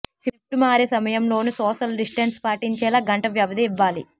shift మారే సమయంలోనూ social distance పాటించేలా గంట వ్యవధి ఇవ్వాలి